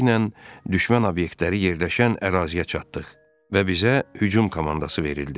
Tezliklə düşmən obyektləri yerləşən əraziyə çatdıq və bizə hücum komandası verildi.